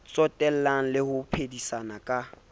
tsotella le ho phedisana ka